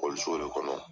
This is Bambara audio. de kɔnɔ